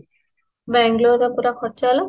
Bangalore ରେ ପରା ଖର୍ଚ୍ଚ ହେଲା